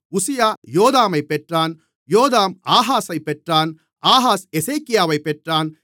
உசியா யோதாமைப் பெற்றான் யோதாம் ஆகாஸைப் பெற்றான் ஆகாஸ் எசேக்கியாவைப் பெற்றான்